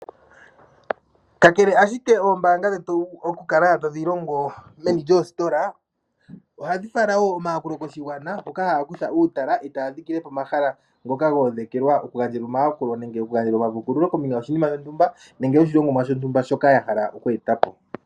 Ka kele ashike oombanga dhetu oku kala tadhi longo meni lyoo sitola, ohadhi fala wo omayakulo ko shigwana, mpoka Yaya kutha uutala, etaya fala ko mahala hoka ga uvanekelwa oku gandjelwa omayakulo nenge oku gandja oma puukululo kombinga yo shininasho ntumba nenge yo shilongomwa sho ntumba shoka ya hala oku etapo.